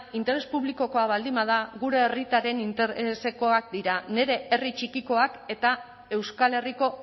interes publikokoa baldin bada gure herritarren interesekoak dira nire herri txikikoak eta euskal herriko